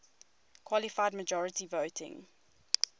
qualified majority voting